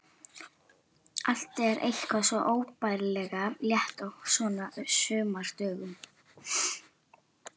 Allt er eitthvað svo óbærilega létt á svona sumardögum.